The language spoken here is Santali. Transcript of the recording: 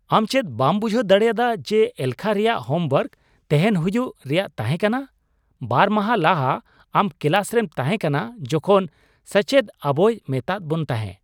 ᱟᱢ ᱪᱮᱫ ᱵᱟᱢ ᱵᱩᱡᱷᱟᱹᱣ ᱫᱟᱲᱮᱭᱟᱫᱟ ᱡᱮ ᱮᱞᱠᱷᱟ ᱨᱮᱭᱟᱜ ᱦᱳᱢ ᱳᱣᱟᱨᱠ ᱛᱮᱦᱮᱧ ᱦᱩᱭᱩᱜ ᱮᱨᱭᱟᱜ ᱛᱟᱦᱮᱸᱠᱟᱱᱟ ? ᱵᱟᱨ ᱢᱟᱦᱟ ᱞᱟᱦᱟ ᱟᱢ ᱠᱮᱞᱟᱥ ᱨᱮᱢ ᱛᱟᱦᱮᱸ ᱠᱟᱱᱟ ᱡᱚᱠᱷᱚᱱ ᱥᱟᱪᱮᱫ ᱟᱵᱚᱭ ᱢᱮᱛᱟᱜ ᱵᱚᱱ ᱛᱟᱦᱮᱸ ᱾